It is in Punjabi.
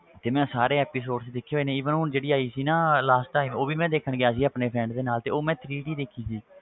ਤੇ ਮੈਂ ਸਾਰੇ episodes ਦੇਖੇ ਹੋਏ ਨੇ even ਹੁਣ ਜਿਹੜੀ ਆਈ ਸੀ ਨਾ last time ਉਹ ਵੀ ਮੈਂ ਦੇਖਣ ਗਿਆ ਸੀਗਾ ਆਪਣੇ friend ਦੇ ਨਾਲ ਤੇ ਉਹ ਮੈਂ three D ਦੇਖੀ ਸੀ,